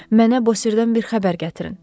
Mənə Bosirdən bir xəbər gətirin!